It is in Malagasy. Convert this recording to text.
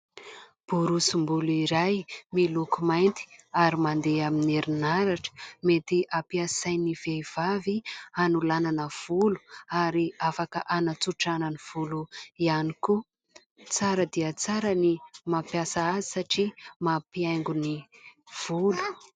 Borosim-bolo iray miloko mainty ary mandeha amin'ny herinaratra, mety ampiasain'ny vehivavy hanolanana volo ary afaka hanatsotrana ny volo ihany koa. Tsara dia tsara ny mampiasa azy satria mampihaingo ny volo.